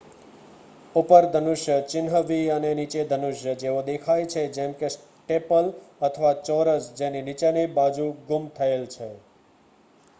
"""ઉપર ધનુષ" ચિહ્ન v અને "નીચે ધનુષ" જેવા દેખાય છે જેમ કે સ્ટેપલ અથવા ચોરસ જેની નીચેની બાજુ ગુમ થયેલ છે.